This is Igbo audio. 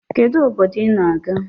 Kedu obdodo i na-aga?